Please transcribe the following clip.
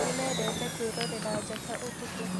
Nĩmendete kwĩrorea njata ũtukũ